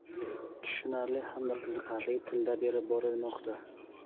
tushunarli hamda qiziqarli tilda berib borilmoqda.